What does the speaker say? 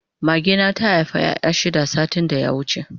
Mage na ta Haifa ƴaƴa shida satin da ya wuce